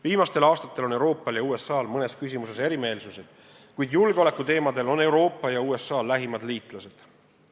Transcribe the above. Viimastel aastatel on Euroopal ja USA-l mõnes küsimuses erimeelsused, kuid julgeoleku küsimustes on Euroopa ja USA lähimad liitlased.